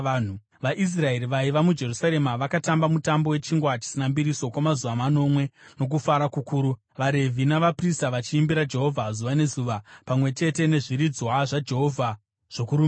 VaIsraeri vaiva muJerusarema vakatamba Mutambo weChingwa Chisina Mbiriso kwamazuva manomwe nokufara kukuru, vaRevhi navaprista vachiimbira Jehovha zuva nezuva, pamwe chete nezviridzwa zvaJehovha zvokurumbidza.